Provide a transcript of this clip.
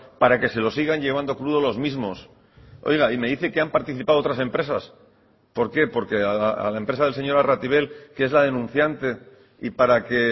para que se lo sigan llevando crudo los mismos oiga y me dice que han participado otras empresas por qué porque a la empresa del señor arratibel que es la denunciante y para que